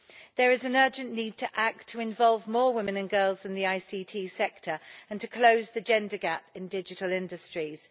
There is an urgent need to act to involve more women and girls in the IT sector and to close the gender gap in digital industries.